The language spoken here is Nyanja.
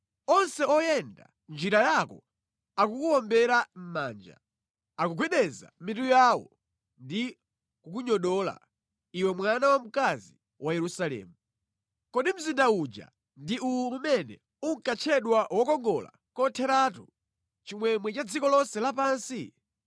Onse oyenda mʼnjira yako akukuwombera mʼmanja; akugwedeza mitu yawo ndi kukunyodola iwe mwana wamkazi wa Yerusalemu: “Kodi mzinda uja ndi uwu umene unkatchedwa wokongola kotheratu, chimwemwe cha dziko lonse lapansi?”